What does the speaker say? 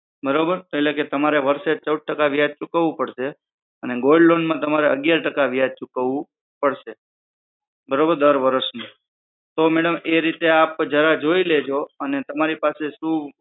બરોબર એટલે કે તમારે વર્ષે ચૌદ ટકા વ્યાજ ચૂકવવું પડશે અને gold loan માં તમારે અગિયાર ટકા વ્યાજ ચૂકવવું પડશે બરોબર દર વરસ નું તો મેડમ એ રીતે આપ જરા એ રીતે જોઈ લો કે તમારી પાસે સુ